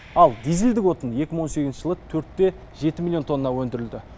ал дизельдік отын екі мың он сегізінші жылы төрт те жеті миллион тонна өндірілді